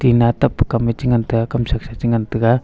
na tap pe kam me che ngan tega kam saksa che ngan tega.